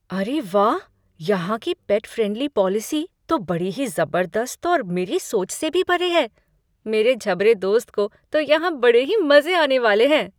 अरे वाह! यहाँ की पेट फ्रेंडली पॉलिसी तो बड़ी ही ज़बरदस्त और मेरी सोच से भी परे है , मेरे झबरे दोस्त को तो यहाँ बड़े ही मज़े आने वाले हैं!